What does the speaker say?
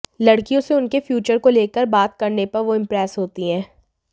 लड़कियों से उनके फ्यूचर को लेकर बात करने पर वो इम्प्रेस होती हैं